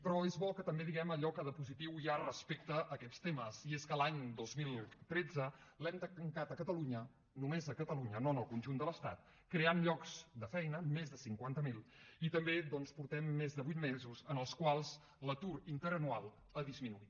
però és bo que també diguem allò que de positiu hi ha respecte a aquests temes i és que l’any dos mil tretze l’hem tancat a catalunya només a catalunya no en el conjunt de l’estat creant llocs de feina més de cinquanta mil i també doncs portem més de vuit mesos en els quals l’atur interanual ha disminuït